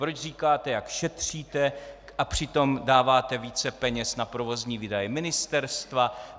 proč říkáte, jak šetříte, a přitom dáváte více peněz na provozní výdaje ministerstva;